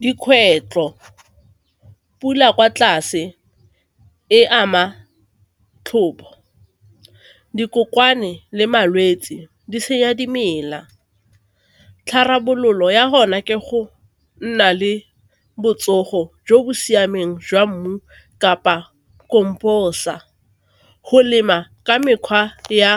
Dikgwetlho, pula kwa tlase e ama tlhopho, dikokoane le malwetse di senya dimela. Tharabololo ya rona ke go nna le botsogo jo bo siameng jwa mmu kapa composer, go lema ka mekgwa ya